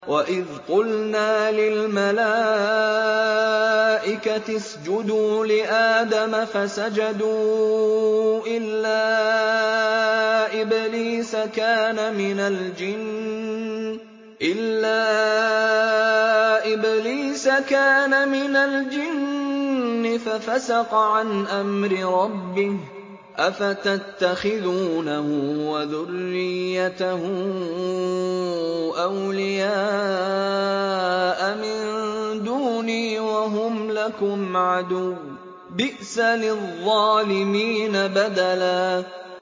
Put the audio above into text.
وَإِذْ قُلْنَا لِلْمَلَائِكَةِ اسْجُدُوا لِآدَمَ فَسَجَدُوا إِلَّا إِبْلِيسَ كَانَ مِنَ الْجِنِّ فَفَسَقَ عَنْ أَمْرِ رَبِّهِ ۗ أَفَتَتَّخِذُونَهُ وَذُرِّيَّتَهُ أَوْلِيَاءَ مِن دُونِي وَهُمْ لَكُمْ عَدُوٌّ ۚ بِئْسَ لِلظَّالِمِينَ بَدَلًا